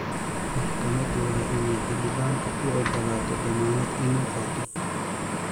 Maxkamaddu waa inay xildhibaanka uu ogaalato dammaanad inuu qaaddaa .